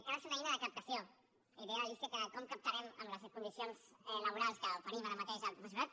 que ha de ser una eina de captació i deia l’alícia que com captarem amb les condicions laborals que oferim ara mateix el professorat